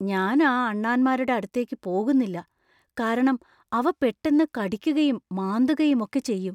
ഞാൻ ആ അണ്ണാന്മാരുടെ അടുത്തേക്ക് പോകുന്നില്ല, കാരണം അവ പെട്ടന്ന് കടിക്കുകയും, മാന്തുകയും ഒക്കെ ചെയ്യും.